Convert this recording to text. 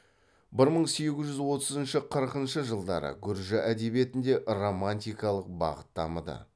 бір мың сегіз жүз отызыншы қырқыншы жылдары гүржі әдебиетінде романтикалық бағыт дамыды